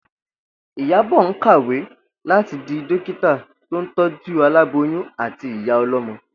Ìyábò̩ ń kàwé láti di dókítà tó ń tó̩jú aláboyún àti ìyá o̩ló̩mo̩